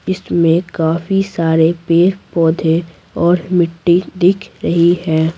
इसमें काफी सारे पेड़-पौधे और मिट्टी दिख रही है।